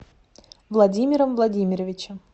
владимиром владимировичем